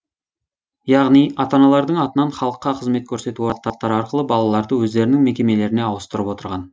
яғни ата аналардың атынан халыққа қызмет көрсету орталықтары арқылы балаларды өздерінің мекемелеріне ауыстырып отырған